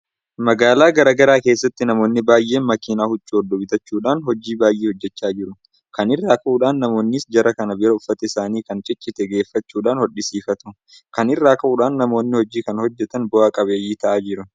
Magaalaa garaa garaa keessatti namoonni baay'een makiinaa huccuu hodhu bitachuudhaan hojii baay'ee hojjechaa jiru. Kana irraa ka'uudhaan namoonnis jara kana bira uffata isaanii kan ciccite geeffachuudhaan hodhisiifatu. Kana irraa ka'uudhaan namoonni hojii kana hojjetan bu'a qabeeyyii ta'aa jiru.